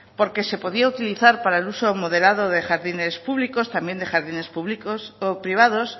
porque se podía utilizar para el uso moderado de jardines públicos también de jardines privados